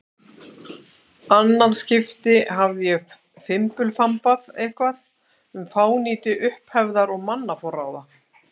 annað skipti hafði ég fimbulfambað eitthvað um fánýti upphefðar og mannaforráða.